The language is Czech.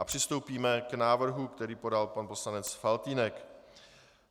A přistoupíme k návrhu, který podal pan poslanec Faltýnek.